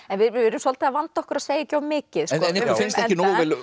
við erum svolítið að vanda okkur að segja ekki of mikið ykkur finnst ekki nógu vel